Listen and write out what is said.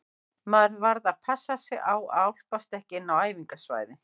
Maður varð bara að passa sig á að álpast ekki inn á æfingasvæðin.